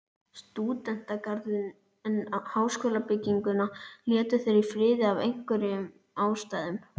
Stúdentagarðinn, en háskólabygginguna létu þeir í friði af einhverjum ástæðum.